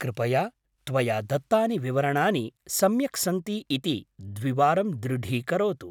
कृपया त्वया दत्तानि विवरणानि सम्यक् सन्ति इति द्विवारं दृढीकरोतु।